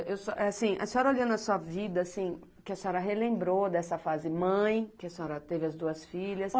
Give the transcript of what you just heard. Assim, a senhora olhando a sua vida, assim, que a senhora relembrou dessa fase mãe, que a senhora teve as duas filhas.